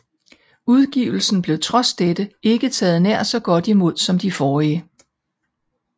Udgivelsen blev trods dette ikke taget nær så godt imod som de forrige